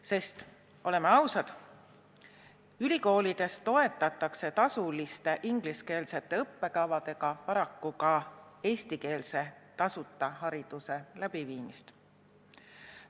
Sest oleme ausad, tasuliste ingliskeelsete õppekavadega toetatakse ülikoolides paraku ka tasuta eestikeelse hariduse andmist.